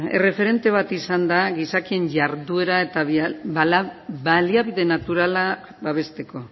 erreferente bat izan da gizakien jarduera eta baliabide naturala babesteko